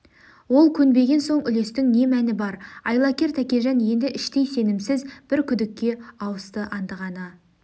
ол көнбеген соң үлестің не мәні бар айлакер тәкежан енді іштей сенімсіз бір күдікке ауысты андығаны